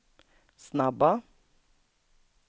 snabba